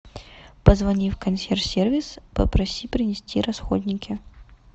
позвони в консьерж сервис попроси принести расходники